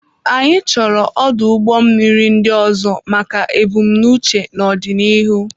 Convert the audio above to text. Anyị chọrọ ọdụ ụgbọ mmiri ndị ọzọ maka ebumnuche n'ọdịnihu.